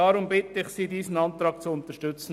Deshalb bitte ich Sie, diesen Antrag zu unterstützen.